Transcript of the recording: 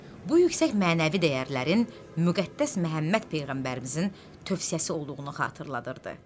Bu yüksək mənəvi dəyərlərin Müqəddəs Məhəmməd peyğəmbərimizin tövsiyəsi olduğunu xatırladırdı.